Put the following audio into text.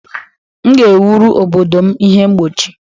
M ga-ewuru obodo m ihe mgbochi